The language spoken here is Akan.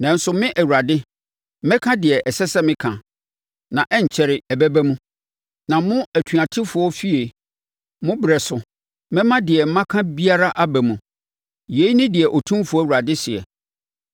Nanso me Awurade, mɛka deɛ ɛsɛ sɛ meka, na ɛrenkyɛre, ɛbɛba mu. Na mo atuatefoɔ efie, mo berɛ so, mɛma deɛ maka biara aba mu. Yei ne deɛ Otumfoɔ Awurade seɛ.’ ”